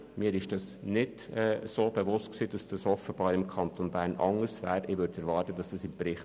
Mir war nicht bewusst, dass das im Kanton Bern anders ist als im Kanton Zürich.